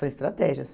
São estratégias.